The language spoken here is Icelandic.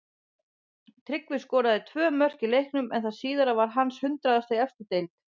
Tryggvi skoraði tvö mörk í leiknum en það síðara var hans hundraðasta í efstu deild.